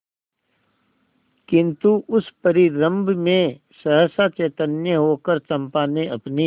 किंतु उस परिरंभ में सहसा चैतन्य होकर चंपा ने अपनी